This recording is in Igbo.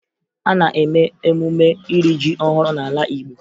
A na-eme emume iri ji ọhụrụ n'ala Igbo